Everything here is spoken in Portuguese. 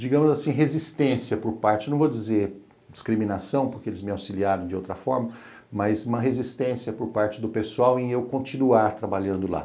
digamos assim, resistência por parte, não vou dizer discriminação, porque eles me auxiliaram de outra forma, mas uma resistência por parte do pessoal em eu continuar trabalhando lá.